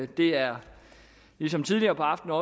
det er ligesom tidligere på aftenen